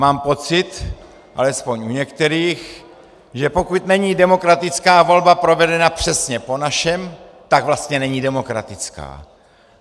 Mám pocit, alespoň u některých, že pokud není demokratická volba provedena přesně po našem, tak vlastně není demokratická.